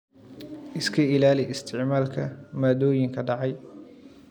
Iska ilaali isticmaalka maaddooyinka dhacay.